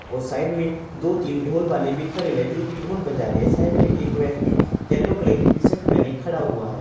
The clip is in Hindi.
और साइड में दो तीन ढोल वाले भी खड़े हुए हैं जोकि ढोल बजा रहे हैं साइड में एक व्यक्ति येलो कलर की टी शर्ट पहने खड़ा हुआ है।